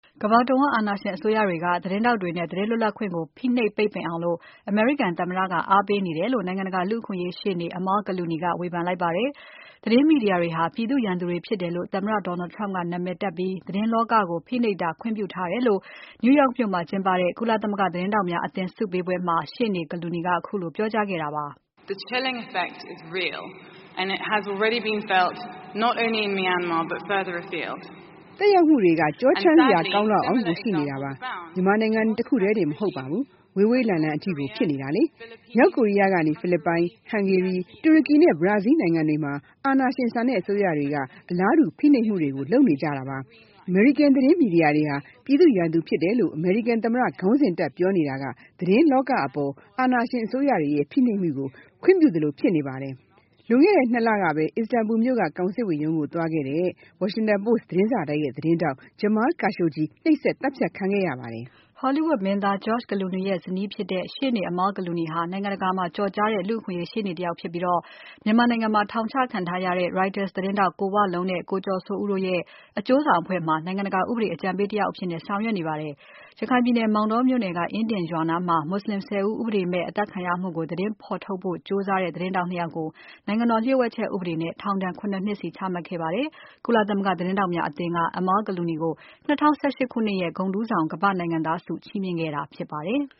ကမ္ဘာတဝန်း အာဏာရှင်အစိုးရတွေက သတင်းထောက်တွေနဲ့ သတင်းလွတ်လပ်ခွင့်ကို ဖိနှိပ် ပိတ်ပင်အောင် အမေရိကန်သမ္မတက အားပေးနေတယ်လို့ နိုင်ငံတကာ လူ့အခွင့်အရေးရှေ့နေ Amal Clooney ဝေဖန် လိုက်ပါတယ်။ သတင်းမီဒီယာတွေဟာ ပြည်သူ့ရန်သူတွေဖြစ်တယ်လို့ သမ္မတ Donald Trump ကနာမည်တပ်ပြီး သတင်း လောကကို ဖိနှိပ်တာခွင့်ပြုထားတယ်လို့ New York မြို့မှာကျင်းပတဲ့ ကုလသမဂ္ဂ သတင်းထောက်များအသင်း ဆုပေးပွဲမှာ ရှေ့နေ့ Amal Clooney ကခုလိုပြောကြားခဲ့ပါတယ်။ “သက်ရောက်မှုတွေက ကျောချမ်းစရာကောင်းလောက်ကို ရှိနေပါတယ်။ မြန်မာနိုင်ငံတခုတည်းမှာ တင် မဟုတ် ပါဘူး။ ဝေးဝေးလံလံအထိကို ဖြစ်နေတာပါ။ မြောက်ကိုရီးယားကနေ၊ ဖိလစ်ပိုင်၊ ဟန်ဂေရီ၊ တူရကီနဲ့ ဘရာဇီး နိုင်ငံတွေမှာ အာဏာရှင်ဆန်တဲ့အစိုးရတွေက အလားတူဖိနှိပ်မှုတွေကို လုပ်နေကြပါတယ်။ အမေရိကန်သတင်း မီဒီယာဟာ ပြည်သူ့ရန်သူဖြစ်တယ်လို့ အမေရိကန်သမ္မတ ခေါင်းစဉ်တပ်ပြောနေတာက သတင်းလောကအပေါ် အာဏာရှင်အစိုးရတွေရဲ့ဖိနှိပ်မှုတွေကို ခွင့်ပြုရာရောက်နေပါတယ်။ လွန်ခဲ့တဲ့ ၂ လကပဲ အစ္စတန်ဘူမြို့က ကောင်စစ်ဝန်ရုံးကိုသွားတဲ့ Washington Post သတင်းစာတိုက်ရဲ့ သတင်းထောက် Jamal Khashoggi နှိပ်စက် သတ်ဖြတ် ခံခဲ့ရပါတယ်။” Hollywood မင်းသား George Clooney ရဲ့ဇနီးဖြစ်တဲ့ ရှေ့နေ Amal Clooney ဟာ နိုင်ငံတကာမှာ ကျော်ကြားတဲ့ လူ့အခွင့်အရေး ရှေ့နေတယောက်ဖြစ်ပြီး မြန်မာနိုင်ငံမှာ ထောင်ချခံထားရတဲ့ Reuter’s သတင်း ထောက် ကိုဝလုံးနဲ့ ကိုကျော်စိုးဦးတို့ရဲ့ အကျိုးဆောင်အဖွဲ့မှာ နိုင်ငံတကာ ဥပဒေအကြံပေး တယောက် အဖြစ် ဆောင်ရွက်နေပါတယ်။ ရခိုင်ပြည်နယ် မောင်တောမြို့နယ်က အင်ဒင်ရွာနားမှာ မွတ်ဆလင် ၁၀ ဦး ဥပဒေမဲ့ အသတ်ခံရမှုကို သတင်းဖော်ထုတ်ဖို့ကြိုးစားနေတဲ့ သတင်းထောက် ၂ ယောက်ကို နိုင်ငံတော်လျှို့ဝှက်ချက် ဥပဒေနဲ့ ထောင်ဒဏ် ၇ နှစ်စီချခဲ့ပါတယ်။ ကုလသမဂ္ဂ သတင်းထောက်များအသင်းက Amal Clooney ကို ၂၀၁၈ ခုနှစ်ရဲ့ ဂုဏ်ထူးဆောင် ကမ္ဘာ့နိုင်ငံသားဆုချီးမြှင့်ခဲ့တာဖြစ်ပါတယ်။